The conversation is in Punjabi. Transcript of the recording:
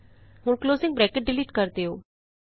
ਹੁਣ ਕਲੋਜ਼ਿੰਗ ਬਰੈਕਟ ਡਿਲੀਟ ਕਰ ਦਿਉ